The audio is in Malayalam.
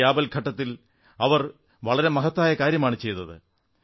ഈ ആപൽഘട്ടത്തിൽ അവർ വളരെ മഹത്തായ കാര്യമാണു ചെയ്തത്